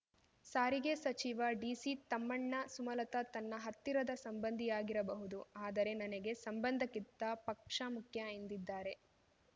ಸಾರಿಗೆ ಸಚಿವ ಡಿಸಿತಮ್ಮಣ್ಣ ಸುಮಲತಾ ನನ್ನ ಹತ್ತಿರದ ಸಂಬಂಧಿಯಾಗಿರಬಹುದು ಆದರೆ ನನಗೆ ಸಂಬಂಧಕ್ಕಿಂತ ಪಕ್ಷ ಮುಖ್ಯ ಎಂದಿದ್ದಾರೆ